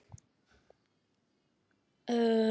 Um miðjan júní hélt hann enn til Reykjavíkur.